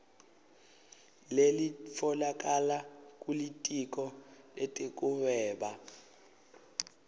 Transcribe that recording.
lelitfolakala kulitiko letekuhweba